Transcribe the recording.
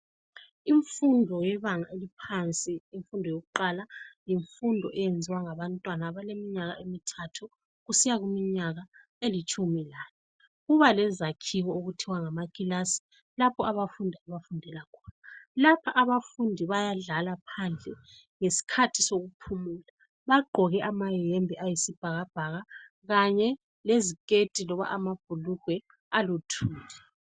Imfundo yebanga eliphansi imfundo yokuqala yimfundo eyenziwa ngabantwana abaleminyaka emithathu kusiya kuminyaka elitshumi lanye. Kuba lezakhiwo okuthiwa ngamakilasi lapho abafundi abafundela khona. Lapha abafundi bayadlala phandle ngesikhathi sokuphumula. Bagqoke amayembe ayisibhakabhaka kanye leziketi loba amabhulugwe aluthuli.